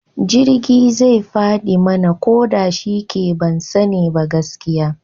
Jirgi zai fadi mana, ko da shike ban sani ba gaskiya